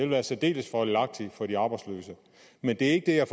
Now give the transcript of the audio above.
være særdeles fordelagtigt for de arbejdsløse men det er ikke det jeg